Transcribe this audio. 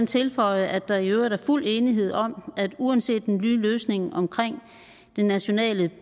tilføje at der i øvrigt er fuld enighed om at uanset hvordan den nye løsning omkring det nationale